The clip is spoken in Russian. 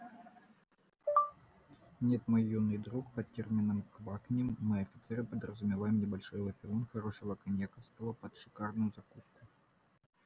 нет мой юный друг под термином квакнем мы офицеры подразумеваем небольшой выпивон хорошего коньяковского под шикарную закуску